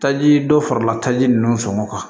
Taji dɔ farala taji ninnu sɔngɔ kan